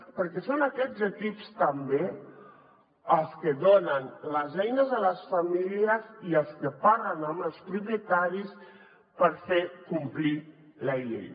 perquè són aquests equips també els que donen les eines a les famílies i els que parlen amb els propietaris per fer complir la llei